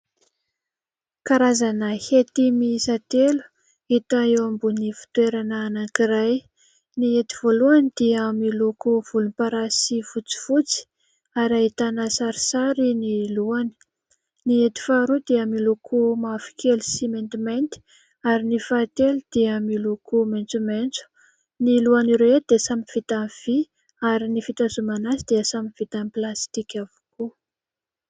Karazana hety miisa telo hita eo ambony fitoerana anankiray. Ny hety voalohany dia miloko volomparasy fotsifotsy ary ahitana sarisary ny lohany. Ny hety faharoa dia miloko mavokely sy maintimainty ary ny fahatelo dia miloko maitsomaitso. Ny lohan' ireo dia samy vita vy ary ny fitazomana azy dia samy vita plastika avokoa.